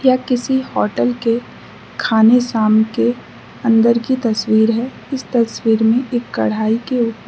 यह किसी हटेल के खाने शाम के अंदर के तस्वीर है इस तस्वीर में एक कड़ाही के उ --